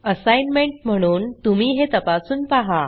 assignment म्हणून तुम्ही हे तपासून पाहा